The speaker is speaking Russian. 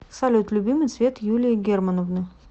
салют любимый цвет юлии германовны